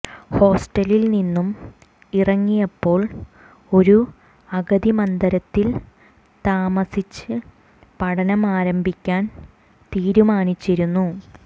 ഹോസ്റ്റലിൽ നിന്നും ഇറങ്ങിയപ്പോൾ ഒരു അഗതി മന്ദിരത്തിൽ താമസിച്ച് പഠനം ആരംഭിക്കാൻ തീരുമാനിച്ചിരുന്നു